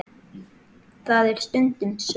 Það er stundum svo.